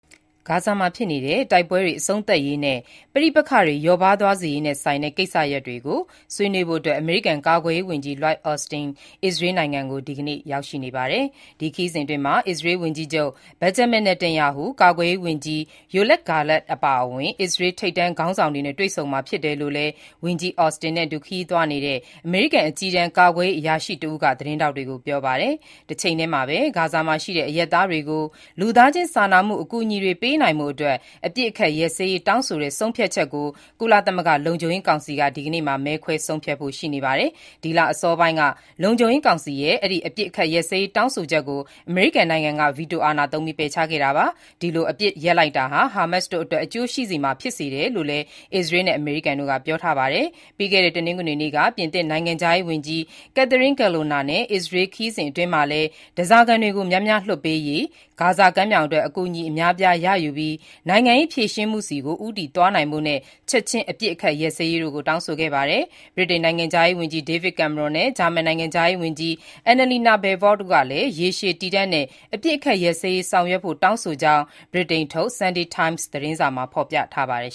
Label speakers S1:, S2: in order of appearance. S1: ဂါဇာမှာဖြစ်နေတဲ့ တိုက်ပွဲတွေ အဆုံးသတ်ရေးနဲ့ ပဋိပက္ခတွေကို လျော့ပါးသွားစေရေးနဲ့ဆိုင်တဲ့ ကိစ္စရပ်တွေကို ဆွေးနွေးဖို့အတွက် အမေရိကန် ကာကွယ်ရေးဝန်ကြီး Lloyd Austin အစ္စရေးနိုင်ငံကို ဒီကနေ့ ရောက်ရှိနေပါတယ်။ ဒီခရီးစဉ်အတွင်းမှာ အစ္စရေး ဝန်ကြီးချုပ် Benjamin Netanyahu ၊ ကာကွယ်ရေးဝန်ကြီး Yoav Gallant အပါအဝင် အစ္စရေးထိပ်တန်းခေါင်းဆောင်တွေနဲ့ တွေ့ဆုံမှာဖြစ်တယ်လို့လည်း ဝန်ကြီး Austin နဲ့အတူ ခရီးသွားနေတဲ့ အမေရိကန် အကြီးတန်း ကာကွယ်ရေး အရာရှိတဦးက သတင်းထောက်တွေကို ပြောပါတယ်။ တချိန်ထဲမှာဘဲ ဂါဇာမှာရှိတဲ့ အရပ်သားတွေကို လူသားခြင်းစာနာမှု အကူအညီတွေ ပေးနိုင်ဖို့အတွက် အပစ်အခတ်ရပ်စဲရေး တောင်းဆိုတဲ့ ဆုံးဖြတ်ချက်ကို ကုလသမဂ္ဂ လုံခြုံရေးကောင်စီက ဒီနေ့မှာ မဲခွဲဆုံးဖြတ်ဖို့ရှိနေပါတယ်။ ဒီလအစောပိုင်းက လုံခြုံရေးကောင်စီရဲ့ အပစ်ရပ်ရေးတောင်းဆိုချက်ကို အမေရိကန်နိုင်ငံက ဗီတိုအာဏာသုံးပြီး ပယ်ချခဲ့တာပါ။ ဒီလို အပစ်ရပ်တန့်လိုက်တာဟာ ဟာမတ်စ်တို့အတွက် အကျိုးရှိစေမှာဖြစ်တယ်လို့လည်း အစ္စရေးနဲ့ အမေရိကန်တို့က ပြောထားပါတယ်။ ပြီးခဲ့တဲ့ တနင်္ဂနွေနေ့က ပြင်သစ်နိုင်ငံခြားရေးဝန်ကြီး Catherine Colonna ရဲ့ အစ္စရေး ခရီးစဉ်အတွင်းမှာလည်း ဓားစာခံတွေကို များများလွှတ်ပေးရေး၊ ဂါဇာကမ်းမြောင်အတွက် အကူအညီ အများအပြားရယူပြီး နိုင်ငံရေးဖြေရှင်းမှုဆီကို ဦးတည်သွားနိုင်ဖို့နဲ့ ချက်ချင်းအပစ်အခတ်ရပ်စဲရေးတို့ကို တောင်းဆိုခဲ့ပါတယ်။ ဗြိတိန်နိုင်ငံခြားရေးဝန်ကြီး David Cameron နဲ့ ဂျာမန်နိုင်ငံခြားရေးဝန်ကြီး Annalena Baerbock တို့ကလည်း ရေရှည် တည်တံ့တဲ့ အပစ်အခတ်ရပ်စဲရေးဆောင်ရွက်ဖို့ တောင်းဆိုကြောင်း ဗြိတိန်ထုတ် Sunday Times သတင်းစာမှာ ဖော်ပြထားပါတယ်